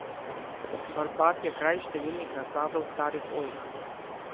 Barbat je kraj številnih nasadov starih oljk.